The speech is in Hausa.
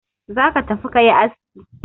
Za ka tafi ka yi aski!